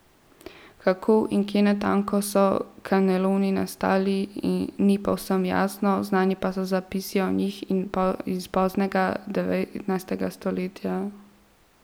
Kako in kje natanko so kaneloni nastali, ni povsem jasno, znani pa so zapisi o njih iz poznega devetnajstega stoletja.